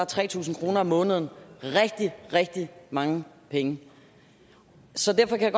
tre tusind kroner om måneden rigtig rigtig mange penge så derfor kan